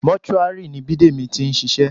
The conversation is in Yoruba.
Mọ́túárì ni Bidemi ti ń ṣiṣẹ́